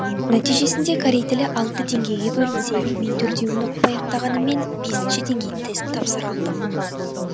нәтижесінде корей тілі алты деңгейге бөлінсе мен төртеуін оқып аяқтағаныммен бесінші деңгейдің тестін тапсыра алдым